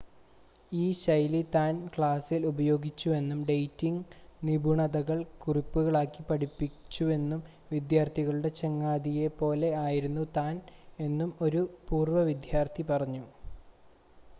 ഈ ശൈലി താൻ ക്ലാസ്സിൽ ഉപയോഗിച്ചുവെന്നും ഡേറ്റിംങ്ങ് നിപുണതകൾ കുറിപ്പുകളാക്കി പഠിപ്പിച്ചുവെന്നും വിദ്യാർത്ഥികളുടെ ചങ്ങാതിയെ പോലെ ആയിരുന്നു താൻ എന്നും ഒരു പൂർവ്വ വിദ്യാർത്ഥി പറഞ്ഞു